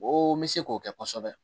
O n bɛ se k'o kɛ kosɛbɛ